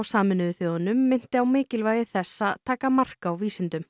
Sameinuðu þjóðanna minnti á mikilvægi þess að taka mark á vísindum